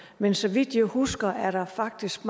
men så vidt jeg husker er der faktisk